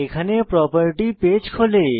এখানে property page খোলে